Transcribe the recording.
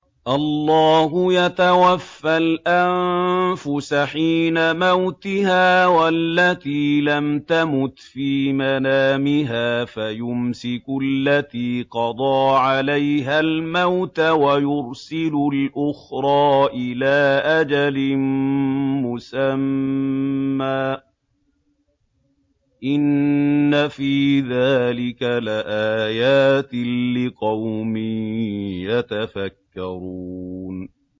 اللَّهُ يَتَوَفَّى الْأَنفُسَ حِينَ مَوْتِهَا وَالَّتِي لَمْ تَمُتْ فِي مَنَامِهَا ۖ فَيُمْسِكُ الَّتِي قَضَىٰ عَلَيْهَا الْمَوْتَ وَيُرْسِلُ الْأُخْرَىٰ إِلَىٰ أَجَلٍ مُّسَمًّى ۚ إِنَّ فِي ذَٰلِكَ لَآيَاتٍ لِّقَوْمٍ يَتَفَكَّرُونَ